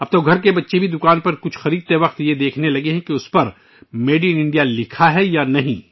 اب تو ہمارے بچے بھی دکان پر کچھ خریدتے وقت یہ دیکھنا شروع کر دیتے ہیں کہ ان پر میڈ اِن انڈیا لکھا ہے یا نہیں